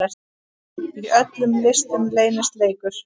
Í öllum listum leynist leikur.